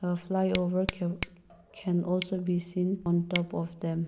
the flyover can can also be seen on top of them.